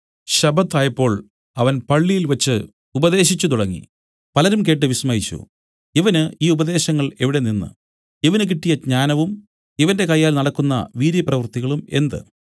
ശബ്ബത്തായപ്പോൾ അവൻ പള്ളിയിൽ വച്ച് ഉപദേശിച്ചു തുടങ്ങി പലരും കേട്ട് വിസ്മയിച്ചു ഇവന് ഈ ഉപദേശങ്ങൾ എവിടെനിന്ന് ഇവന് കിട്ടിയ ജ്ഞാനവും ഇവന്റെ കയ്യാൽ നടക്കുന്ന വീര്യപ്രവൃത്തികളും എന്ത്